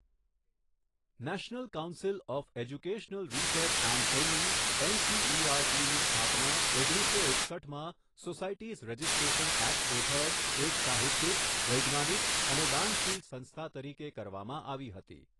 National council of educational research and training એનસીઈઆરટીની સ્થાપના ઓગણીસો એકસઠમાં સોસાયટીઝ રજિસ્ટ્રેશન એક્ટ હેઠળ એક સાહિત્યિક, વૈજ્ઞાનિક અને દાનશીલ સંસ્થા તરીકે કરવામાં આવી હતી.